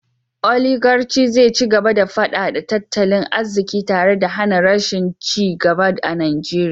Oligarci zai ci gaba da fadada tattalin arziki tare da hana rashin ci gaba a Najeriya